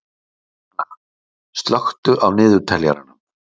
Emilíanna, slökktu á niðurteljaranum.